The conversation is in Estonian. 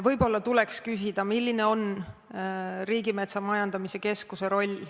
Võib-olla tuleks küsida, milline on Riigimetsa Majandamise Keskuse roll.